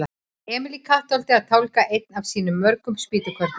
Emil í Kattholti að tálga einn af sínum mörgu spýtukörlum.